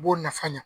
U b'o nafa ɲa